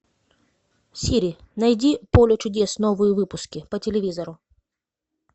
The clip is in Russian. сири найди поле чудес новые выпуски по телевизору